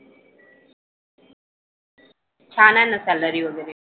छान आहे ना salary वगैरे.